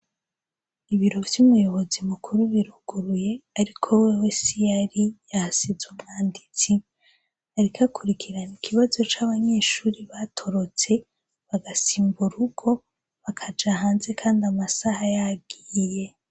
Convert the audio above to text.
Ibiro vy'umuyobozi mukuru biruguruye, ariko wewe siho ari, yahasize umwanditsi. Ariko akurikirana ikibazo c'abanyeshure batorotse, basimbutse urugo bakaja hanze kandi amasaha yagiye.